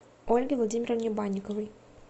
ольге владимировне банниковой